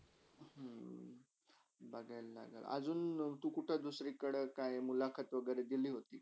बघेल -बघेल अजुन तु कुठे दुसरीकडे काय मुलाकात वागेरे दिली होती का?